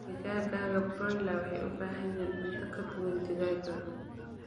Digaagga broiler waxay u baahan yihiin cunto ka duwan digaagga broiler.